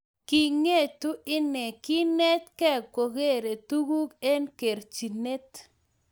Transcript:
Kingietu ine, kinetgei kogeere tuguk eng kerchinet